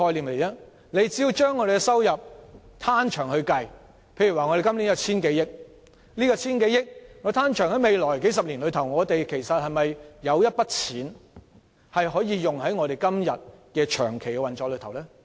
我們只須將收入"攤長"，例如今年有千多億元，如果將這筆錢攤長至未來數十年，我們今天可否撥出部分金額作長期運作之用呢？